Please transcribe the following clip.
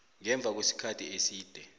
ngemva kwesikhathi eside